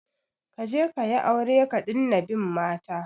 Kaje kayi aure ka dina bin mata